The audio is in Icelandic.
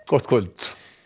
gott kvöld